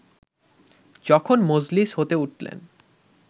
যখন মজলিস হতে উঠলেন